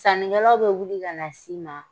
Sannikɛlaw bɛ wuli kana s'i ma